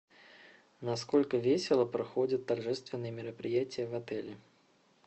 насколько весело проходят торжественные мероприятия в отеле